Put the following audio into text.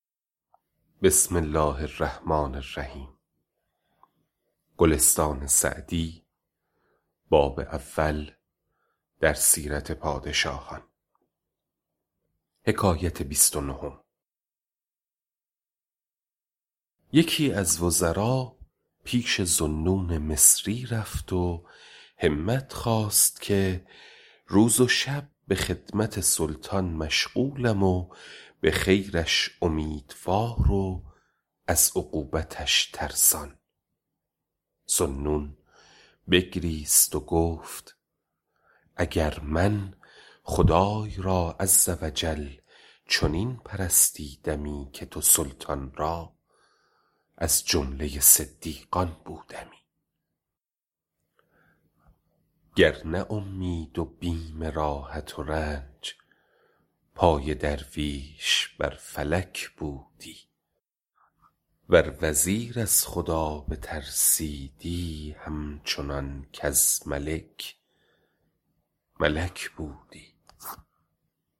یکی از وزرا پیش ذوالنون مصری رفت و همت خواست که روز و شب به خدمت سلطان مشغولم و به خیرش امیدوار و از عقوبتش ترسان ذوالنون بگریست و گفت اگر من خدای را عز و جل چنین پرستیدمی که تو سلطان را از جمله صدیقان بودمی گر نه اومید و بیم راحت و رنج پای درویش بر فلک بودی ور وزیر از خدا بترسیدی هم چنان کز ملک ملک بودی